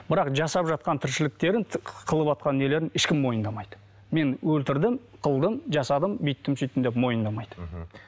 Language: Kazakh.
бірақ жасап жатқан тіршіліктерін қылыватқан нелерін ешкім мойындамайды мен өлтірдім қылдым жасадым бүйттім сөйттім деп мойындамайды мхм